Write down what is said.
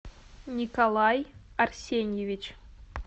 николай арсеньевич